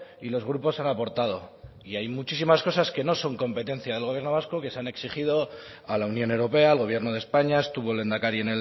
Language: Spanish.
y los grupos han aportado y hay muchísimas cosas que no son competencia del gobierno vasco que se han exigido a la unión europea al gobierno de españa estuvo el lehendakari